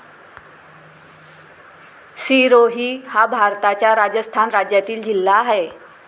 सिरोही हा भारताच्या राजस्थान राज्यातील जिल्हा आहे.